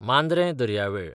मांद्रें दर्यावेळ